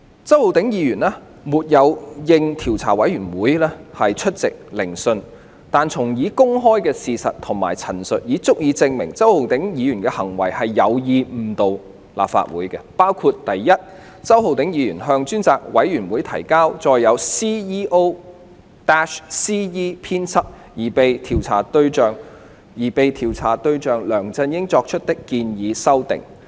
周議員沒有應調查委員會邀請出席聆訊，但從已公開的事實及陳述，已足以證明周議員的行為是有意誤導立法會，包括：第一，周議員向專責委員會提交載有經 "CEO-CE" 編輯的建議修訂事項的文件。